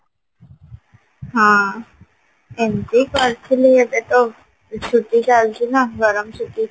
ହଁ ଏମତି କରିଥିଲି ଏବେ ତ ଗ୍ରୀଷ୍ମ ଛୁଟି ଚାଲିଛି ନା ଗରମ ଛୁଟି